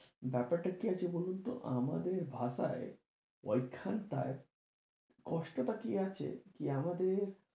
ব্যাপার টা কি আছে বলুন তো আমাদের ভাষায় ওই খানটায় কষ্টটা কি আছে, কি আমাদের,